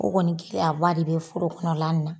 O kɔni kɛlen a ba de be foro kɔnɔ la na.